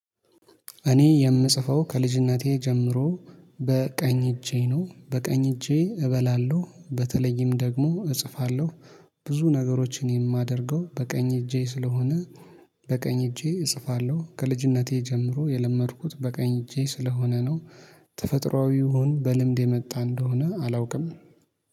እኔ የምጽፈው ከልጅነቴ ጀምሮ በቀኝ እጄ ነው በቀኝ እጄ እበላለሁ በተለይም ደግሞ እጽፋለሁ ብዙ ነገሮችን የማደርገው በቀኝ እጄ ስለሆነ በቀኝ እጄ እጽፋለሁ ከልጅነቴ ጀምሮ የለመድኩት በቀኝ እጄ ስለሆነ ነው። ተፈጥሮአዊ ይሁን በልምድ የመጣ እንደሆነ አላውቅም።